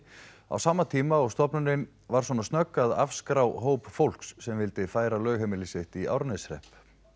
á sama tíma og stofnunin var svona snögg að afskrá hóp fólks sem vildi færa lögheimili sitt í Árneshrepp